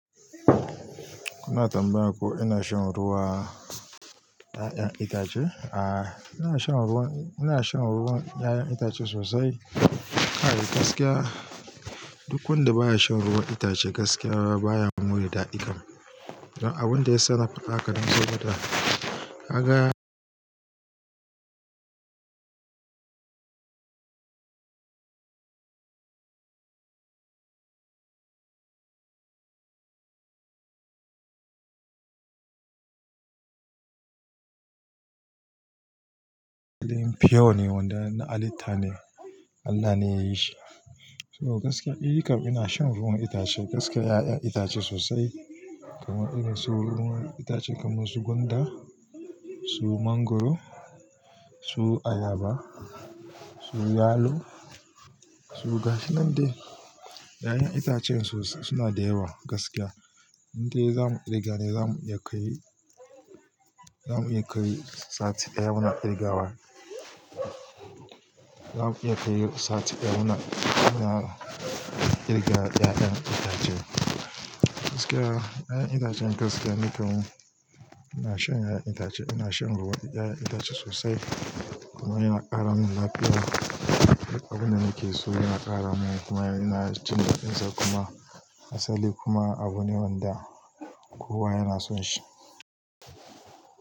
Ku na tambaya ko ina shan ruwan 'ya'yan itace? A'a, ina shan ruwan, ina shan ruwan 'ya'yan itace sosai. Kai gaskiya. Duk wanda baya shan ruwan itace gaskiya baya more daɗi kan. Don abin da yasa nafaɗi haka dan sabo da. Kaga Din fiyo ne wanda na halitta ne Allah ne ya yi shi. So gaskiya, ni kan ina shan ruwan itace gaskiya 'ya'yan itace sosai kamar irin su ruwan itace kamar su gwanda, su mangwaro, su ayaba, su yalo, su gashi nan dai. 'Ya'yan itacen sosai suna da yawa gaskiya. Inde zamu ƙirga ne zamu iya kai, zamu iya kai sati ɗaya muna ƙirgawa. Zamu iya kai sati ɗaya muna ƙirga 'ya'yan itace. Gaskiya 'ya'yan itacen gaskiya nikam, ina shan 'ya'yan itace, ina shan ruwan 'ya'yan itace sosai kuma yana ƙara mun lafiya. Abin da nake so yana ƙara mun kuma ina jin daɗin sa kuma asali kuma abune wanda kowa yana son shi.